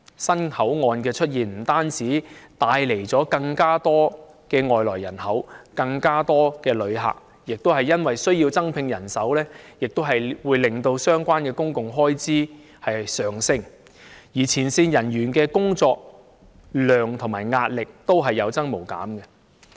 新口岸的出現不單帶來了更多外來人口和旅客，亦帶來增聘人手的需要，令相關公共開支上升，同時，前線人員的工作量和壓力亦有增無減。